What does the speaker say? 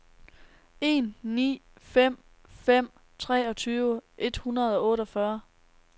en ni fem fem treogtyve et hundrede og otteogfyrre